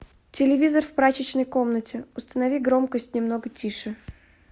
телевизор в прачечной комнате установи громкость немного тише